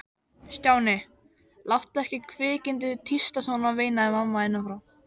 Stjáni, láttu ekki kvikindið tísta svona veinaði mamma innan frá.